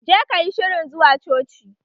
Je kayi shirin zuwa coci!